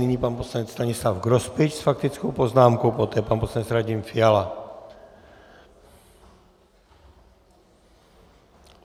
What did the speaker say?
Nyní pan poslanec Stanislav Grospič s faktickou poznámkou, poté pan poslanec Radim Fiala.